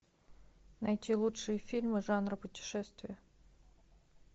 найти лучшие фильмы жанра путешествия